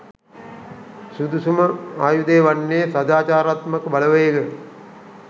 සුදුසුම ආයුධය වන්නේ සදාචාරාත්මක බලවේග